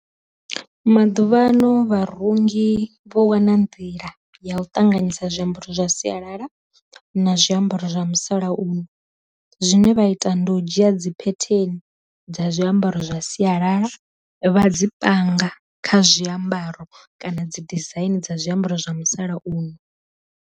Maḓuvhano vha rungi vho wana nḓila ya u ṱanganyisa zwiambaro zwa sialala na zwiambaro zwa musalauno, zwine vha ita ndi u dzhia dzi phetheni dza zwiambaro zwa sialala vha dzi panga kha zwiambaro kana dzi dizaini dza zwiambaro zwa musalauno.